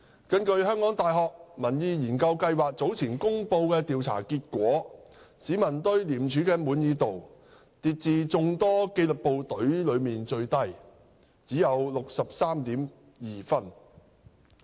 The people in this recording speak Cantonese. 根據香港大學民意研究計劃早前公布的調查結果，市民對廉署的滿意度跌至眾多紀律部隊中最低，只有 63.2 分。